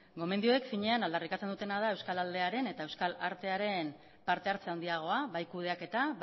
gomendioek finean aldarrikatzen dutena da euskal aldearen eta euskal artearen partehartze handiagoa bai kudeaketa